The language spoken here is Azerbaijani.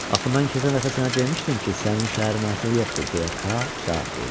Axı mən keçən dəfə sənə demişdim ki, sənin şəhərin artıq yoxdur, deyə Kaa cavab verdi.